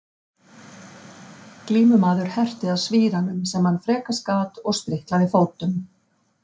Glímumaður herti að svíranum sem hann frekast gat og spriklaði fótum.